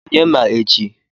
Onye ma echi?